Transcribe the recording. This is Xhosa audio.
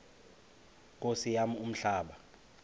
nkosi yam umhlaba